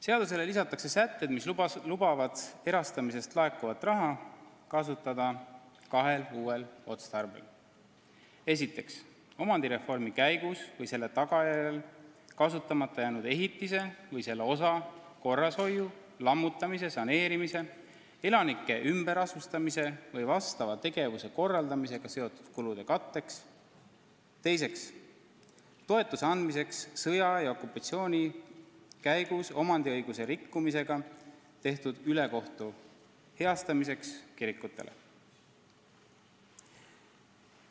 Seadusele lisatakse sätted, mis lubavad erastamisest laekuvat raha kasutada kahel uuel otstarbel: esiteks, omandireformi käigus või selle tagajärjel kasutamata jäänud ehitise või selle osa korrashoiu, lammutamise, saneerimise, elanike ümberasustamise või vastava tegevuse korraldamisega seotud kulude katteks ja teiseks, toetuse andmiseks sõja ja okupatsiooni käigus omandiõiguse rikkumisega tehtud ülekohtu heastamiseks kirikutele.